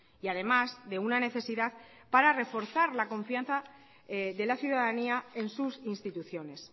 y además de una necesidad para reforzar la confianza de la ciudadanía en sus instituciones